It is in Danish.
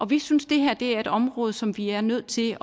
vi synes det her er et område som vi er nødt til